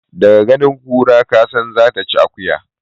Da ganin kura kasan zata ci akuya.